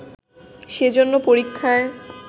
সেজন্য পরীক্ষায়